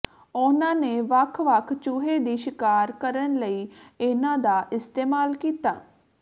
ਉਹਨਾਂ ਨੇ ਵੱਖ ਵੱਖ ਚੂਹੇ ਦੀ ਸ਼ਿਕਾਰ ਕਰਨ ਲਈ ਇਹਨਾਂ ਦਾ ਇਸਤੇਮਾਲ ਕੀਤਾ